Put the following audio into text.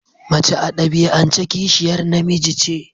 Mace a dabi'ance kishiyar namiji ce.